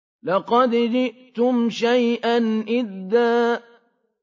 لَّقَدْ جِئْتُمْ شَيْئًا إِدًّا